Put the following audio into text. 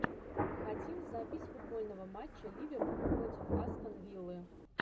хотим запись футбольного матча ливерпуль против астон виллы